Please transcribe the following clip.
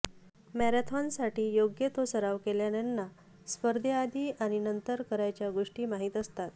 मॅरेथॉनसाठी योग्य तो सराव केलेल्यांना स्पर्धेआधी आणि नंतर करायच्या गोष्टी माहीत असतात